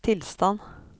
tilstand